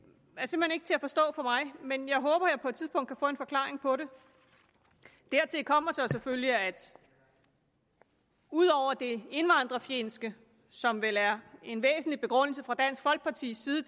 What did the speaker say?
ikke til at forstå for mig men jeg håber at jeg på tidspunkt kan få en forklaring på det dertil kommer selvfølgelig at ud over det indvandrerfjendske som vel er en væsentlig begrundelse fra dansk folkepartis side